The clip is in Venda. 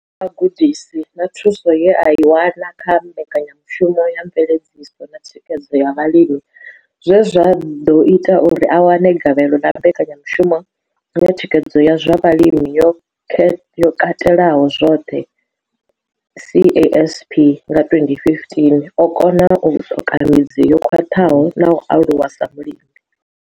kha vhugudisi na thuso ye a i wana kha Mbekanya mushumo ya Mveledziso na Thikhedzo ya Vhalimi zwe zwa ḓo ita uri a wane gavhelo ḽa Mbekanya mushumo ya Thikhedzo ya zwa Vhulimi yo Katelaho zwoṱhe, CASP, nga 2015, o kona u ṱoka midzi yo khwaṱhaho na u aluwa sa mulimi.